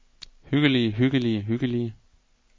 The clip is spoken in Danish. hyggelige hyggelige hyggelige